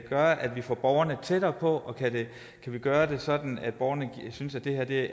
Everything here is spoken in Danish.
at vi får borgerne tættere på og kan vi gøre det sådan at borgerne synes at